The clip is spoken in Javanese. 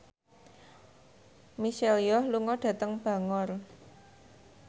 Michelle Yeoh lunga dhateng Bangor